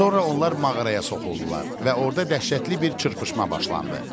Sonra onlar mağaraya soxuldular və orda dəhşətli bir çırpışma başlandı.